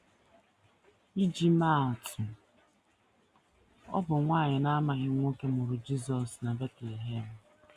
Iji maa atụ: Ọ bụ nwanyị na - amaghị nwoke mụrụ Jisọs na Betlehem.